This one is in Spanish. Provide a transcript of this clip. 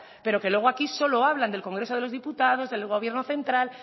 pero que luego aquí solo hablan del congreso de los diputados del gobierno central